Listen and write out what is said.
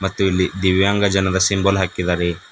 ಮತ್ತು ಇಲ್ಲಿ ದಿವ್ಯಾಂಗ ಜನದ ಸಿಂಬಲ್ ಹಾಕಿದ್ದಾರೆ.